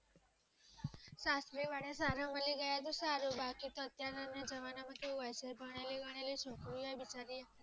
સાસરીવાળા સારો બની ગયા તો સારું ભાગે તો અત્યાર ના જમાના માં જવા શે પણ એ છોકરી